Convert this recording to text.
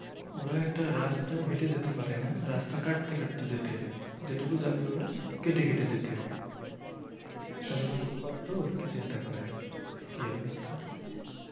ওরা একটা রাস্তাও হেঁটে যেতে পারেনা রাস্তা কাটতে কাটতে যেতে হয় যেটুকু যাবে ওরা কেটে কেটে যেতে হয়। তাহলে কতোটা কষ্ট একটু চিন্তা করেন কি অবস্থা